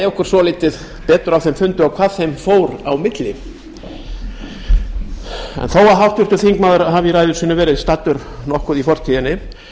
okkur af þeim fundi og hvað þeim fór á milli en þó að háttvirtur þingmaður hafi í ræðu sinni verið staddur nokkuð í fortíðinni